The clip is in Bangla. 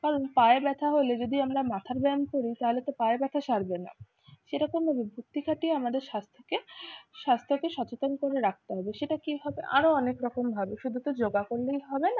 কারণ পায়ে ব্যথা হলে যদি আমরা মাথার ব্যায়াম করি তাহলে তো পায়ের ব্যথা সারবে না, সেরকমভাবে বুদ্ধি খাটিয়ে আমাদের স্বাস্থ্যকে স্বাস্থ্যকে সচেতন করে রাখতে হবে। সেটা কিভাবে? আরো অনেক রকম ভাবে, শুধু তোর যোগা করলেই হবে না